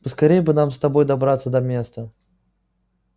поскорее бы нам с тобой добраться до места